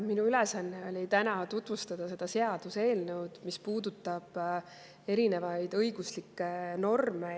Minu ülesanne on täna tutvustada seda seaduseelnõu, mis puudutab erinevaid õiguslikke norme ja aspekte.